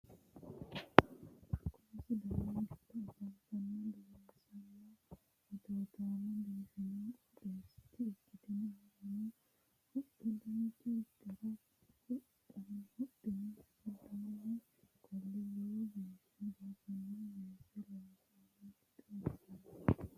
Kuni sidaamu giddo afamanno dureessanna atootaamo biifado qooxeessaati ikkinohurano huxxa dancha gara huxxine giddoonni qolle lowo geeshsha biifino weese lossinoonnita xawissanno.